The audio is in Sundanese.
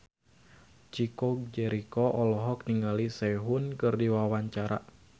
Chico Jericho olohok ningali Sehun keur diwawancara